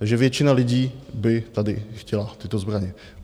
Takže většina lidí by tady chtěla tyto zbraně.